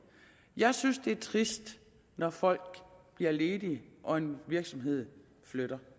jeg synes det er trist når folk bliver ledige og en virksomhed flytter